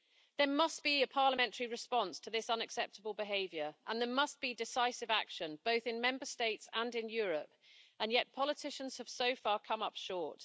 There must be a parliamentary response to this unacceptable behaviour and there must be decisive action, both in Member States and in Europe, and yet politicians have so far come up short.